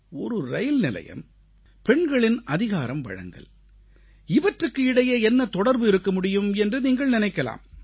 ஒரு ரயில்நிலையம் பெண்களின் அதிகாரம்வழங்கல் இவற்றுக்கு இடையே என்ன தொடர்பு இருக்க முடியும் என்று நீங்கள் நினைக்கலாம்